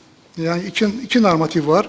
yəni iki normativ var.